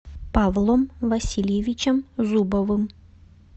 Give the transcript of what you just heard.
павлом васильевичем зубовым